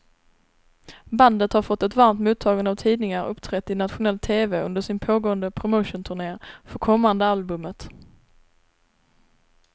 Bandet har fått ett varmt mottagande av tidningar och uppträtt i nationell tv under sin pågående promotionturné för kommande albumet.